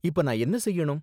இப்போ நான் என்ன செய்யணும்?